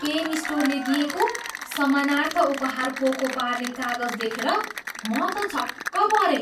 Pain स्टोरले दिएको सम्मानार्थ उपहार पोको पार्ने कागज देखेर म त छक्क परेँ।